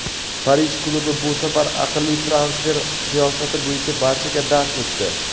Parij klubi bu safar aqlli transfer siyosati bo‘yicha barchaga dars o‘tdi.